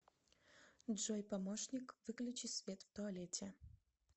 джой помощник выключи свет в туалете